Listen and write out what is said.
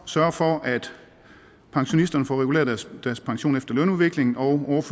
sørger for at pensionisterne får reguleret deres pension efter lønudviklingen og